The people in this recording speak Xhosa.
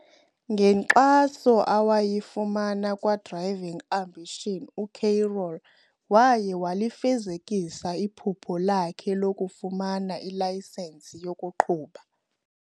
Ngenkxaso awayifumana kwa-Driving Ambitions, uCarol waye walifezekisa iphupha lakhe lokufumana ilayisenisi yokuqhuba.